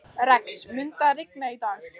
Rex, mun rigna í dag?